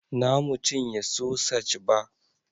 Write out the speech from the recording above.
Na mu cinye sosaj ba